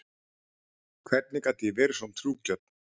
Hvernig gat ég verið svo trúgjörn?